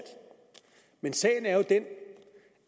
men sagen er jo den